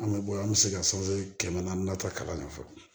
An bɛ bɔ an bɛ se ka kɛmɛ naani na ta kalan ɲɛ fɔlɔ